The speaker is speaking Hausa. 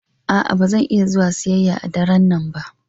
A'a, ba zan iya zuwa siyayya a daren nan ba.